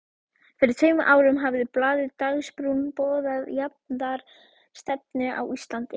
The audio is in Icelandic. Fyrir tveimur árum hafði blaðið Dagsbrún boðað jafnaðarstefnu á Íslandi.